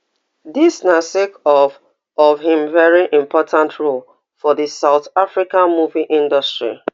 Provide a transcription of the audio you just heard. dis na sake of of im veri important role for di south africa movie industry